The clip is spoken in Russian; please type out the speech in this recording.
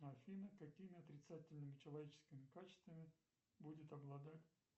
афина какими отрицательными человеческими качествами будет обладать